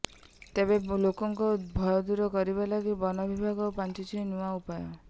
ତେବେ ଲୋକଙ୍କ ଭୟ ଦୂର କରିବା ଲାଗି ବନବିଭାଗ ପାଞ୍ଚିଛି ନୂଆ ଉପାୟ